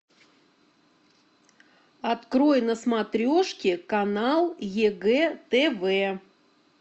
открой на смотрешке канал егэ тв